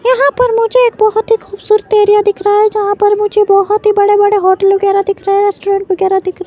यहां पर मुझे एक बहुत ही खूबसूरत एरिया दिख रहा है जहां पर मुझे बहुत ही बड़े-बड़े होटल वगैरह दिख रहे हैं रेस्टोरेंट वगैरह दिख --